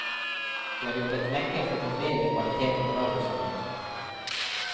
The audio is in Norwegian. Vi har jobbet lenge for å få bedre kvalitet på radiosambandet.